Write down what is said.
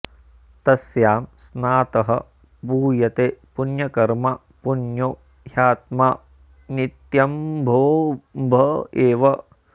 तस्यां स्नातः पूयते पुण्यकर्मा पुण्यो ह्यात्मा नित्यमम्भोऽम्भ एव